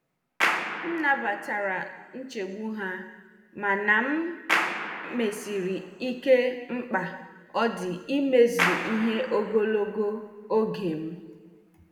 M nabatara nchegbu ha mana m mesiri ike mkpa ọ dị imezu ihe ogologo oge m.